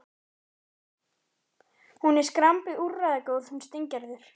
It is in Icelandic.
Hún er svo skrambi úrræðagóð, hún Steingerður.